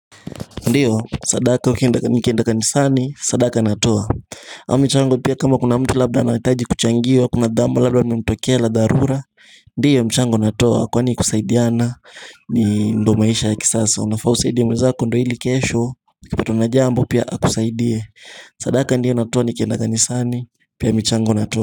Ndiyo, sadaka ni kienda kanisani, sadaka natoa au michango pia kama kuna mtu labda anaitaji kuchangiwa, kuna jambo labda limemtokealabda la darura Ndiyo mchango natoa, kwa ni kusaidiana, ni ndo maisha ya kisasa Unafausaidie mwezako ndo hili kesho, ukipatwa na jambo pia akusaidie sadaka ndiyo natuo n kienda kanisani, pia mchango natoa.